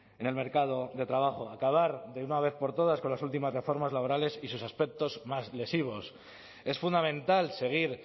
en el mercado de trabajo acabar de una vez por todas con las últimas reformas laborales y sus aspectos más lesivos es fundamental seguir